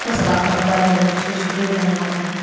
सब आपको आपको अलग अलग कुछ कुछ बना रहा --